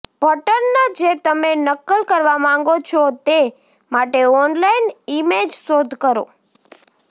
pattern જે તમે નકલ કરવા માંગો છો તે માટે ઓનલાઇન ઇમેજ શોધ કરો